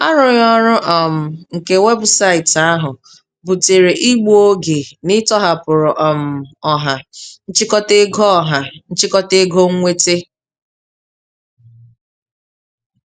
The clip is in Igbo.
Arụghị ọrụ um nke webụsaịtị ahụ butere igbu oge n'ịtọhapụrụ um ọha nchịkọta ego ọha nchịkọta ego nwete.